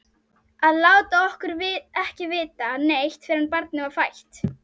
Að láta okkur ekki vita neitt fyrr en barnið var fætt!